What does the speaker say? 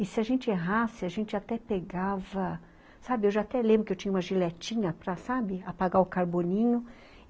E se a gente errasse, a gente até pegava... Sabe, eu já até lembro que eu tinha uma giletinha para, sabe, apagar o carboninho.